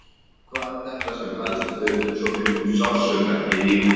Hvað er þetta sem veldur svo miklum sársauka í lífinu?